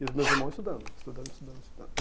E os meus irmãos estudando, estudando, estudando, estudando.